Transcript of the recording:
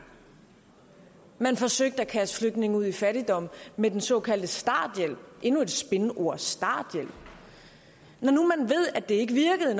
man forsøgte at kaste flygtninge ud i fattigdom med den såkaldte starthjælp endnu et spinord starthjælp at det ikke virkede